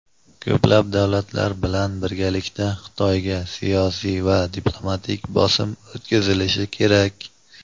Ko‘plab davlatlar bilan birgalikda Xitoyga siyosiy va diplomatik bosim o‘tkazilishi kerak.